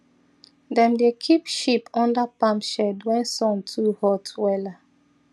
dem dey keep sheep under palm shed when sun too hot wella